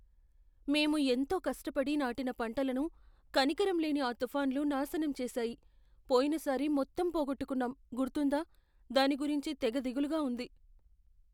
మేము ఎంతో కష్టపడి నాటిన పంటలను కనికరంలేని ఆ తుఫాన్లు నాశనం చేసాయి. పోయినసారి మొత్తం పోగొట్టుకున్నాం గుర్తుందా? దాని గురించే తెగ దిగులుగా ఉంది.